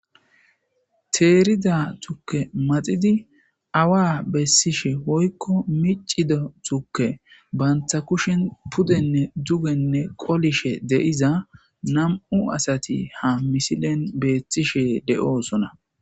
Teerida tukke maxidi awa bessishe hoykko miccido tukke banta kushin pudenne dugenne qolishe deiza nam'u asati ha misilen beethtishe de'oosona.